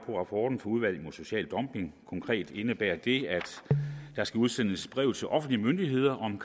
rapporten fra udvalget mod social dumping konkret indebærer det at der skal udsendes breve til offentlige myndigheder om